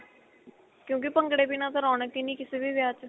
ਕਿਊਂਕਿ ਭੰਗੜੇ ਬਿਨ੍ਹਾਂ ਤਾਂ ਰੋਣਕ ਹੀ ਨਹੀਂ ਕਿਸੇ ਵੀ ਵਿਆਹ ਚ